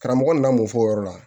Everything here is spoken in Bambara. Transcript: Karamɔgɔ nana mofo o yɔrɔ la